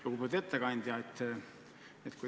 Lugupeetud ettekandja!